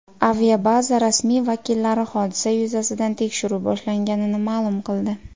Aviabaza rasmiy vakillari hodisa yuzasidan tekshiruv boshlanganini ma’lum qildi.